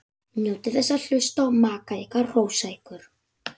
Njótið þess að hlusta á maka ykkar hrósa ykkur.